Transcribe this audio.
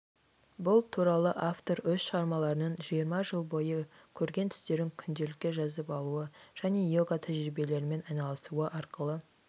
бұл туралы автор өз шығармаларының жиырма жыл бойы көрген түстерін күнделікке жазып алуы және иога тәжірибелерімен айналысуы арқылы